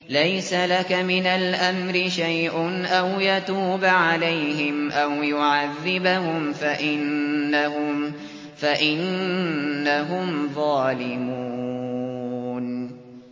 لَيْسَ لَكَ مِنَ الْأَمْرِ شَيْءٌ أَوْ يَتُوبَ عَلَيْهِمْ أَوْ يُعَذِّبَهُمْ فَإِنَّهُمْ ظَالِمُونَ